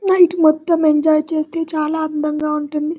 Night మొత్తం enjoy చేస్తే చాల అందంగా ఉంటుంది.